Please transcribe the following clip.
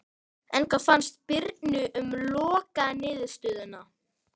En hvað fannst Birni um lokaniðurstöðuna?